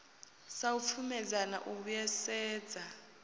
sa u pfumedzana u vhuisedza